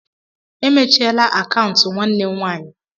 E mechiela akaụntụ nwanne m nwaanyị.